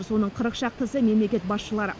соның қырық шақтысы мемлекет басшылары